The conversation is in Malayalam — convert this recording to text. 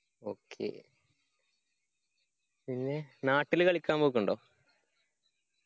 okay പിന്നെ നാട്ടില് കളിക്കാൻ പോക്കുണ്ടോ